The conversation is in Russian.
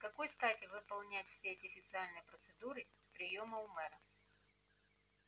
с какой стати выполнять все эти официальные процедуры приёма у мэра